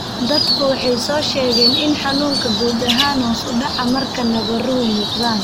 Dadku waxay soo sheegeen in xanuunku guud ahaan hoos u dhaco marka nabaruhu muuqdaan.